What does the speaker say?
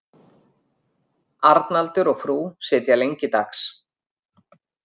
Arnaldur og frú sitja lengi dags.